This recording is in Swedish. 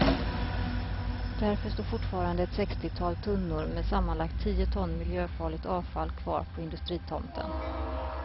Därför står fortfarande ett sextiotal tunnor med sammanlagt tio ton miljöfarligt avfall kvar på industritomten.